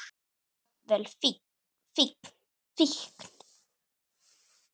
Jafnvel fíkn.